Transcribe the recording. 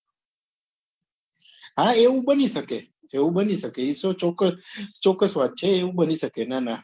હા એવું બની શકે એવું બની શકે એતો ચોક્કસ ચોક્કસ વાત છે ના ના